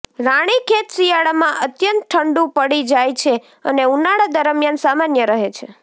રાણીખેત શિયાળામાં અત્યંત ઠંડુ પડી જાય છે અને ઉનાળા દરમ્યાન સામાન્ય રહે છે